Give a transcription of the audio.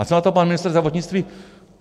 A co na to pan ministr zdravotnictví?